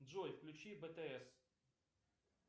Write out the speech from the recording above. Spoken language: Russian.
джой включи бтс